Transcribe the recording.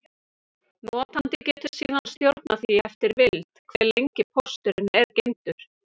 Notandi getur síðan stjórnað því eftir vild, hve lengi pósturinn er geymdur.